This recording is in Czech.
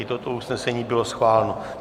I toto usnesení bylo schváleno.